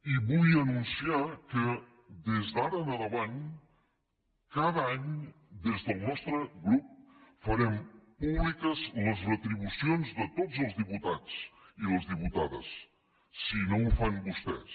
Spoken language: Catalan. i vull anunciar que des d’ara endavant cada any des del nostre grup farem públiques totes les retribucions de tots diputats i les diputades si no ho fan vostès